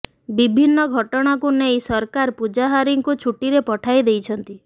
ବିଭିନ୍ନ ଘଟଣାକୁ ନେଇ ସରକାର ପୂଜାହାରୀଙ୍କୁ ଛୁଟିରେ ପଠାଇ ଦେଇଛନ୍ତି